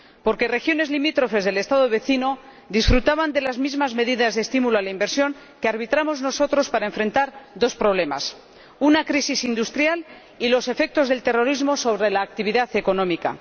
Porque regiones limítrofes del Estado vecino disfrutaban de las mismas medidas de estímulo a la inversión que arbitramos nosotros para afrontar dos problemas una crisis industrial y los efectos del terrorismo sobre la actividad económica.